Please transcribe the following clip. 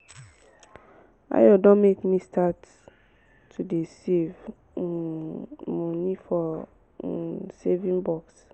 ayo don make me start to dey save um money for um saving box